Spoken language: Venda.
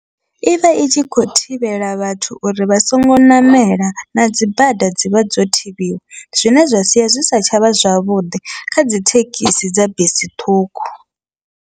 Ivha i tshi kho thivhela vhathu uri vha songo ṋamela na dzibada dzivha dzo thivhiwa, zwine zwa sia zwi si tshavha zwavhuḓi kha dzithekhisi dza bisi ṱhukhu.